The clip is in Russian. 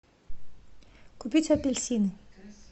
купить апельсины